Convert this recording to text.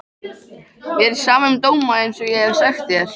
Mér er sama um dóma einsog ég hef sagt þér.